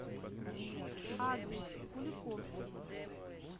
адрес куликовский